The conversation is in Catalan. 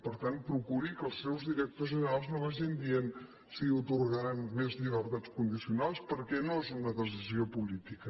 per tant procuri que els seus directors generals no vagin dient si atorgaran més llibertats condicionals perquè no és una decisió política